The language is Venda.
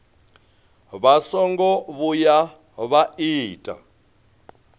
vha songo vhuya vha ita